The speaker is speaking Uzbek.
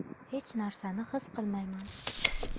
Hech narsani his qilmayman.